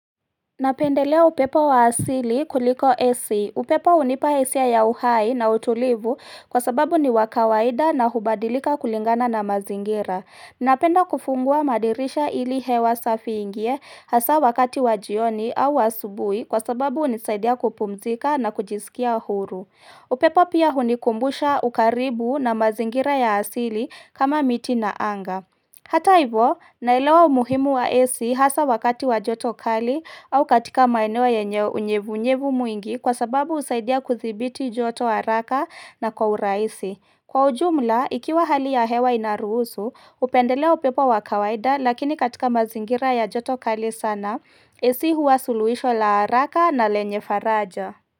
Napendelea upepo wa asili kuliko ac. Upepo hunipa hisia ya uhai na utulivu kwa sababu ni wa kawaida na hubadilika kulingana na mazingira. Napenda kufungua madirisha ili hewa safi iingie hasa wakati wa jioni au asubuhi kwa sababu hunisaidia kupumzika na kujisikia huru. Upepo pia hunikumbusha ukaribu na mazingira ya asili kama miti na anga. Hata hivo, naelewa umuhimu wa ac hasa wakati wa joto kali au katika maeneo yenye unyevu unyevu mwingi kwa sababu husaidia kudhibiti joto haraka na kwa urahisi. Kwa ujumla, ikiwa hali ya hewa inaruhusu, hupendelea upepo wa kawaida lakini katika mazingira ya joto kali sana, ac huwa suluhisho la haraka na lenye faraja.